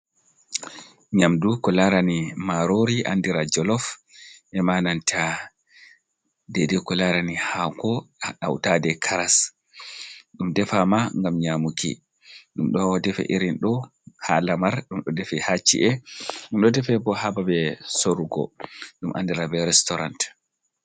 Nyamdu ko larani marori andira jolof e'ma nanta dedei ko larani haako hautade karas. Ɗum defama ngam nyamuki. Ɗum ɗo defe irin ɗo ha lamar, ɗum ɗo defe ha ci'e, ɗum ɗo defe bo ha babe sorugo ɗum andira be restorant.